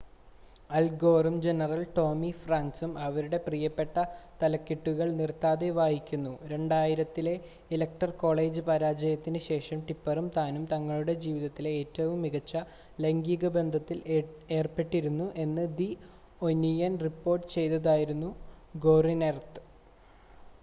അൽ ഗോറും general Tommy ഫ്രാങ്ക്‌സും അവരുടെ പ്രിയപ്പെട്ട തലക്കെട്ടുകൾ നിർത്താതെ വായിക്കുന്നു 2000-ത്തിലെ ഇലക്ടറൽ കോളേജ് പരാജയത്തിന് ശേഷം ടിപ്പെറും താനും തങ്ങളുടെ ജീവിതത്തിലെ ഏറ്റവും മികച്ച ലൈംഗിക ബന്ധത്തിൽ ഏർപ്പെട്ടിരുന്നു എന്ന് ദി ഒനിയൻ റിപ്പോർട്ട് ചെയ്തതായിരുന്നു ഗോറിന്റെത്